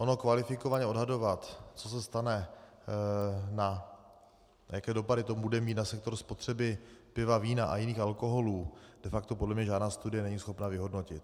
Ono kvalifikovaně odhadovat, co se stane a jaké dopady to bude mít na sektor spotřeby piva, vína a jiných alkoholů, de facto podle mě žádná studie není schopna vyhodnotit.